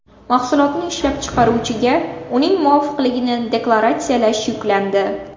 Mahsulotni ishlab chiqaruvchiga uning muvofiqligini deklaratsiyalash yuklandi.